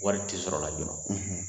Wari ti sɔrɔ la joona